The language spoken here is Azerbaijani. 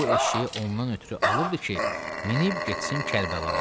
Çünki bu eşşəyi ondan ötrü alıbdır ki, minib getsin Kərbəlaya.